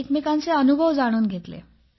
एकमेकांचे अनुभव जाणून घेतले